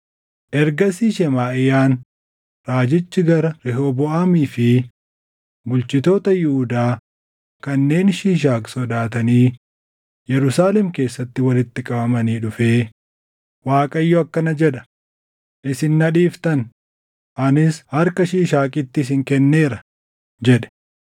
Ergasii Shemaaʼiyaan raajichi gara Rehooboʼaamii fi bulchitoota Yihuudaa kanneen Shiishaaq sodaatanii Yerusaalem keessatti walitti qabamanii dhufee, “ Waaqayyo akkana jedha; ‘Isin na dhiiftan; anis harka Shiishaaqitti isin kenneera’ ” jedhe.